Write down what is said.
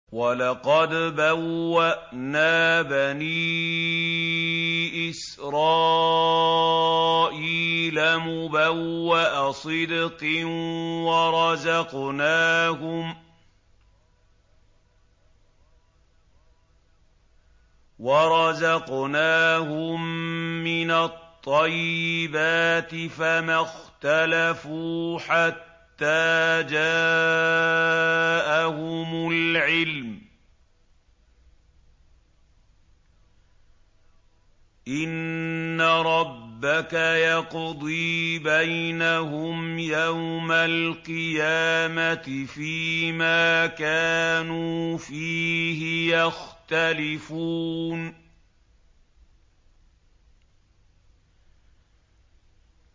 وَلَقَدْ بَوَّأْنَا بَنِي إِسْرَائِيلَ مُبَوَّأَ صِدْقٍ وَرَزَقْنَاهُم مِّنَ الطَّيِّبَاتِ فَمَا اخْتَلَفُوا حَتَّىٰ جَاءَهُمُ الْعِلْمُ ۚ إِنَّ رَبَّكَ يَقْضِي بَيْنَهُمْ يَوْمَ الْقِيَامَةِ فِيمَا كَانُوا فِيهِ يَخْتَلِفُونَ